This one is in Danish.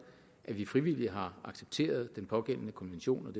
at vi frivilligt har accepteret den pågældende konvention